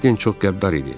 Maddin çox qəddar idi.